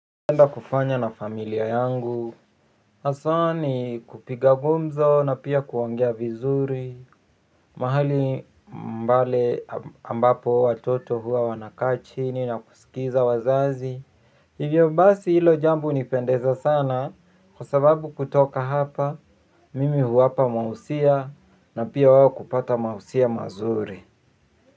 Napenda kufanya na familia yangu haswa ni kupiga gumzo na pia kuongea vizuri mahali pale ambapo watoto huwa wanakaa chini na kusikiza wazazi hivyo basi hilo jambo unipendeza sana kwa sababu kutoka hapa mimi huwapa mahusia na pia wao kupata mahusia mazuri.